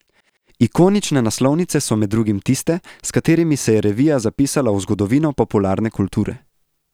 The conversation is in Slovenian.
Ikonične naslovnice so med drugim tiste, s katerimi se je revija zapisala v zgodovino popularne kulture.